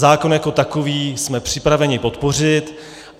Zákon jako takový jsme připraveni podpořit.